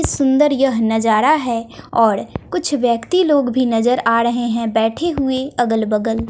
सुंदर यह नजारा है और कुछ व्यक्ति लोग भी नजर आ रहे हैं बैठे हुए अगल बगल।